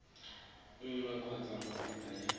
nngwe kgotsa go feta ya